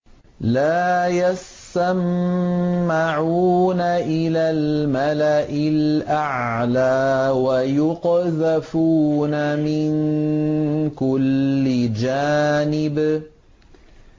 لَّا يَسَّمَّعُونَ إِلَى الْمَلَإِ الْأَعْلَىٰ وَيُقْذَفُونَ مِن كُلِّ جَانِبٍ